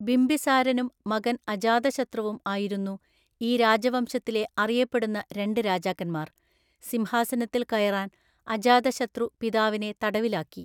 ബിംബിസാരനും മകൻ അജാതശത്രുവും ആയിരുന്നു ഈ രാജവംശത്തിലെ അറിയപ്പെടുന്ന രണ്ട് രാജാക്കന്മാർ, സിംഹാസനത്തിൽ കയറാൻ അജാതശത്രു പിതാവിനെ തടവിലാക്കി.